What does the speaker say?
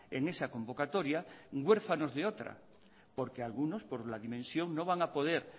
en esa convocatoria huérfanos de otra porque algunos por la dimensión no van a poder